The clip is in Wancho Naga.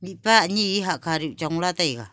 mihpa ani hahkha cho chong la taiga.